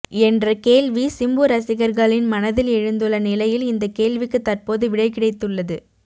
என்ற கேள்வி சிம்பு ரசிகர்களின் மனதில் எழுந்துள்ள நிலையில் இந்த கேள்விக்கு தற்போது விடை கிடைத்துள்ளது